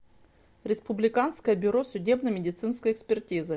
республиканское бюро судебно медицинской экспертизы